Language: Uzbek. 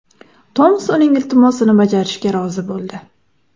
Tomas uning iltimosini bajarishga rozi bo‘ldi.